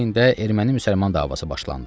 Bu heydə erməni-müsəlman davası başlandı.